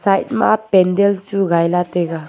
pandan chu gai lah ley taiga.